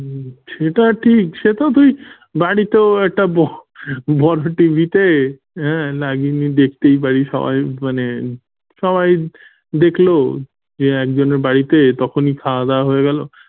হম সেটা ঠিক সে তো তুই বাড়িতেও একটা বড়, বড় TV তে হাঁ লাগিয়ে নিয়ে দেখতে পারিস সবাই মানে সবাই দেখলো যে একজনের বাড়িতে তখনই খাওয়া দাওয়া হয়ে গেল।